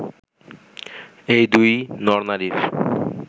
এই দুই নর-নারীর